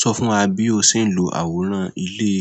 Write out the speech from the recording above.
Sọ fún wa bí o ṣe ń lo àwòrán ile